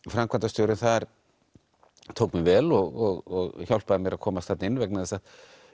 framkvæmdarstjórinn þar tók mér vel og hjálpaði mér að komast þarna inn vegna þess að